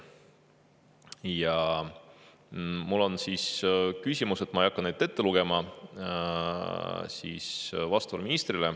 Ja mul on ministrile küsimused, mida ma ei hakka ette lugema.